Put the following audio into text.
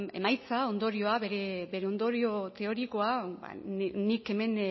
emaitza ondorioa bere ondorio teorikoa ba nik hemen